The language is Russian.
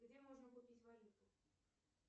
где можно купить валюту